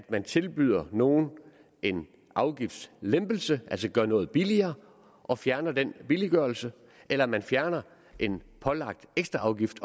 man tilbyder nogen en afgiftslempelse altså gør noget billigere og fjerner den billiggørelse eller om man fjerner en pålagt ekstraafgift